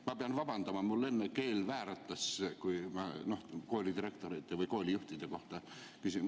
Ma pean vabandama, mul enne keel vääratas, kui koolidirektorite või koolijuhtide kohta küsisin.